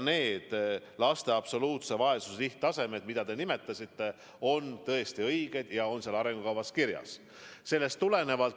Need laste absoluutse vaesuse määrad, mida te nimetasite, on tõesti õiged ja selles arengukavas kirjas.